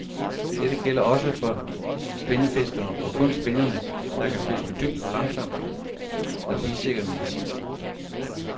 Dette gælder også for spinnefiskeren, og kun spinnere, der kan fiskes dybt og langsomt, er bidsikker medicin.